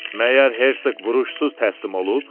Məyər Hersoq vuruşsuz təslim olub?